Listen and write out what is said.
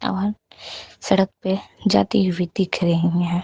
वाहन सड़क पे जाती हुई दिख रही है।